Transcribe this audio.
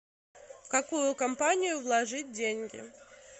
в какую компанию вложить деньги